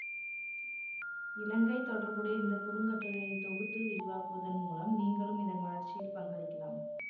இலங்கை தொடர்புடைய இந்த குறுங்கட்டுரையை தொகுத்து விரிவாக்குவதன் மூலம் நீங்களும் இதன் வளர்ச்சியில் பங்களிக்கலாம்